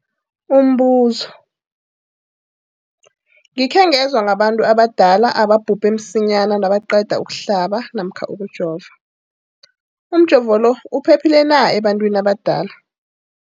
Umbuzo, gikhe ngezwa ngabantu abadala ababhubhe msinyana nabaqeda ukuhlaba namkha ukujova. Umjovo lo uphephile na ebantwini abadala?